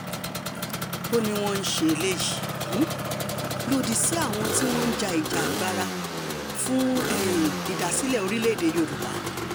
ó ní wọ́n ń ṣe eléyìí um lòdì sí àwọn tí wọ́n ń ja ìjàngbara fún um ìdásílẹ̀ orílẹ̀‐èdè yorùbá